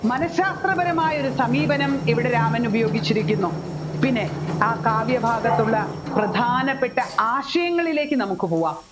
മനഃശാസ്ത്രപരമായ ഒരു സമീപനം ഇവിടെ രാമൻ ഉപയോഗിച്ചിരിക്കുന്നു പിന്നെ ആ കാവ്യാഭാഗത്തുള്ള പ്രധാനപ്പെട്ട ആശയങ്ങളിലേക്ക് നമ്മുക്ക് പോകാം